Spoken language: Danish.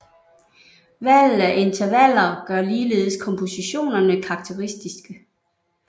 Valget af intervaller gør ligeledes kompositionerne karakteristiske